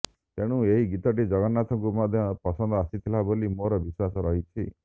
ତେଣୁ ଏହି ଗୀତଟି ଜଗନ୍ନାଥଙ୍କୁ ମଧ୍ୟ ପସନ୍ଦ ଆସିଥିଲା ବୋଲି ମୋର ବିଶ୍ୱାସ ରହିଛି